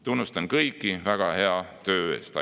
Tunnustan kõiki väga hea töö eest.